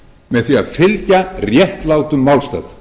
með því að fylgja réttlátum málstað